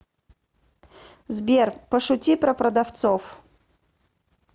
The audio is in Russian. сбер пошути про продавцов